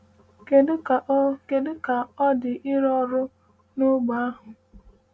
Kedu ka ọ Kedu ka ọ dị ịrụ ọrụ n’ógbè ahụ?